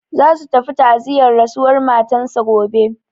Za su tafi ta'aziyar rasuwar matan sa gobe.